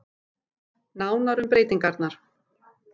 Nánar um breytingarnar